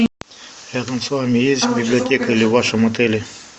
рядом с вами есть библиотека или в вашем отеле